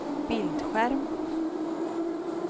bildskärm